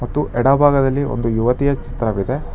ತ್ತು ಎಡಭಾಗದಲ್ಲಿ ಒಂದು ಯುವತಿಯ ಚಿತ್ರವಿದೆ.